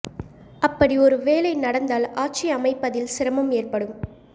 அப்படி ஒரு வேளை நடந்தால் ஆட்சி அமைப்பதில் சிரமம் ஏற்படும்